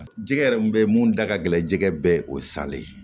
Jɛgɛ yɛrɛ mun bɛ ye mun da ka gɛlɛn jɛgɛ bɛɛ ye o sale ye